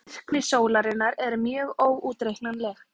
Virkni sólarinnar er mjög óútreiknanleg.